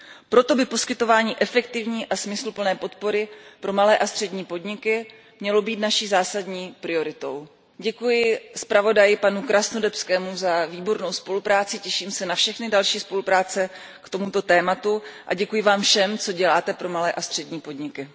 Proto by poskytování efektivní a smysluplné podpory pro malé a střední podniky mělo být naší zásadní prioritou. Děkuji zpravodaji Krasnodębskému za výbornou spolupráci, těším se na všechny další spolupráce k tomuto tématu a děkuji vám všem, co děláte pro malé a střední podniky.